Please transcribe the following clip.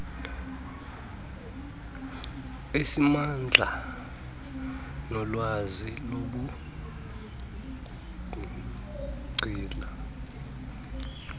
esingamandla anolwazi lobungcali